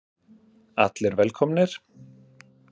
Allir velkomnir.